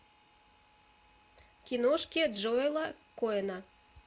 киношки джоэла коэна